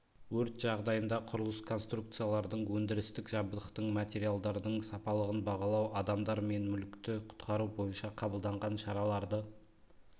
өрт жағдайында құрылыс конструкциялардың өндірістік жабдықтың материалдардың сапалығын бағалау адамдар мен мүлікті құтқару бойынша қабылданған шараларды